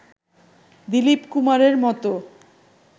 দিলীপ কুমারের মতো